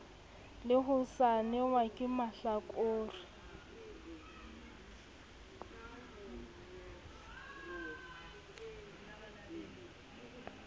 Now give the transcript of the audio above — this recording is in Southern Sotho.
le ho saenelwa ke mahlakore